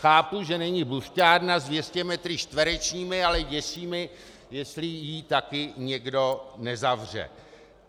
Chápu, že není buřťárna s 200 metry čtverečními, ale děsí mě, jestli ji také někdo nezavře.